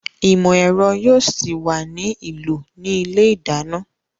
Ìmọ̀ ẹ̀rọ yóò ṣì wà ní ìlò ní ilé ìdáná